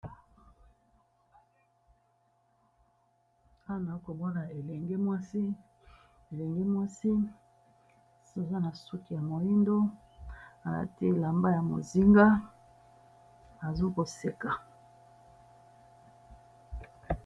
Awa baza komoni elengi mwansi eaa na suki ya mohindu atier elamba ya kangi ya bozenga Azo seka